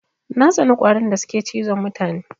Na tsani ƙwarin da suke cizon mutane.